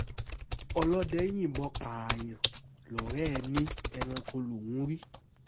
ọlọ́dẹ yìnbọn pààyàn lọ́rẹ́ ò ní ẹranko lòún rí